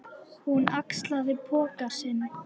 Hún axlaði poka sinn.